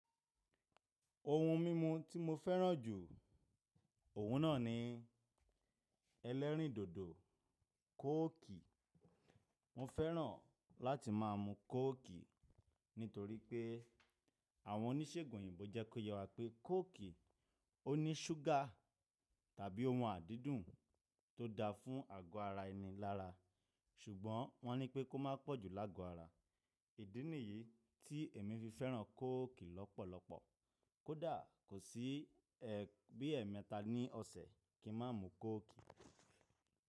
Ohun mímu tí mo fẹ́ràn jù, òun náà ni ẹlẹ́rìndòdò kóòkì. Mo fẹ́ràn láti má a mu kóòkì nítorí pé àwọn oníṣègùn òyìnbó jẹ́ kó yẹ wá pé kóòkì ó ní ṣúgà tàbí ohun adídùn tó da fún àgọ́ ara ẹni lára, ṣùgbọ́n wọ́n ní pé kó má pọ̀ jù lágo ara. Ìdí nìyí tí èmi fi fẹ́ràn kóòkì lọ́pọ̀lọpọ̀. Kódà kò sí ẹ bi ẹ mẹ́ta ní ọ̀sẹ̀ kí n má mu kóòkì.